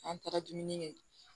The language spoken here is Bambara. An taara dumuni kɛ